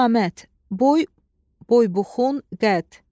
Qamət, boy, boy-buxun, qəd.